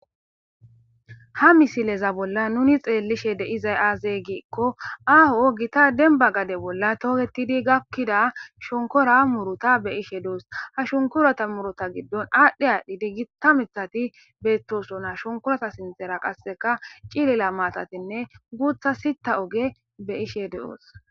Ha misileza bolla nuni xeellishe de'izay aazey giikko aaho gita demba gade bolla tooketidi gakkida shonkora muruta be ishe duus ha shunkorata murota giddon aadhdhi aadhdhi diggita mithati beettoso na shonkorata sintera qasseka cilila maatatinne guutha sita oge be ishe de'oos.